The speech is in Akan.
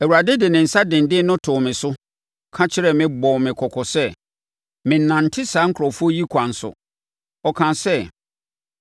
Awurade de ne nsa denden no too me so, ka kyerɛ me bɔɔ me kɔkɔ sɛ, mennante saa nkurɔfoɔ yi kwan so. Ɔkaa sɛ,